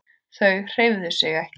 Þau hreyfðu sig ekki.